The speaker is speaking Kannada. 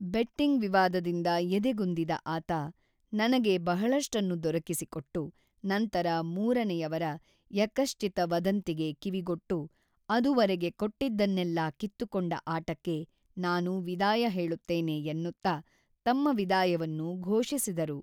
ಬೆಟ್ಟಿಂಗ್ ವಿವಾದದಿಂದ ಎದೆಗುಂದಿದ ಆತ, ನನಗೆ ಬಹಳಷ್ಟನ್ನು ದೊರಕಿಸಿಕೊಟ್ಟು, ನಂತರ ಮೂರನೆಯವರ ಯಃಕಶ್ಚಿತ ವದಂತಿಗೆ ಕಿವಿಗೊಟ್ಟು ಅದುವರೆಗೆ ಕೊಟ್ಟಿದ್ದನ್ನೆಲ್ಲ ಕಿತ್ತುಕೊಂಡ ಆಟಕ್ಕೆ ನಾನು ವಿದಾಯ ಹೇಳುತ್ತೇನೆ ಎನ್ನುತ್ತಾ ತಮ್ಮ ವಿದಾಯವನ್ನು ಘೋಷಿಸಿದರು.